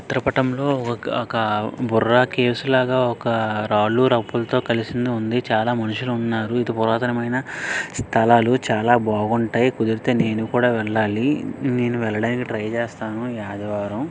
చిత్ర పటంలో ఒక బుర్ర కేవ్ స్ ఒక రాళ్లు రప్పలు తో కలిసింది ఉంది చాలా మనుషులు ఉన్నారు ఇతి పురాతనమైన స్థలాలు చాలా బాగుంటాయి మీరు అయితే నేను కూడా వెళ్లాలి నేను వెళ్లడానికి ట్రై చేస్తాను ఈ ఆదివారం.